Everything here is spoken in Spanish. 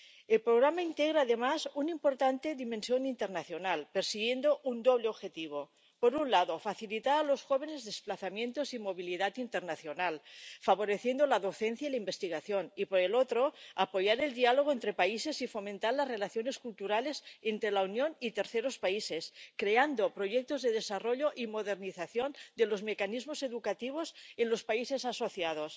El programa integra además una importante dimensión internacional, persiguiendo un doble objetivo por un lado, facilitar a los jóvenes los desplazamientos y la movilidad internacional, favoreciendo la docencia y la investigación y, por el otro, apoyar el diálogo entre países y fomentar las relaciones culturales entre la Unión y terceros países, creando proyectos de desarrollo y modernización de los mecanismos educativos en los países asociados.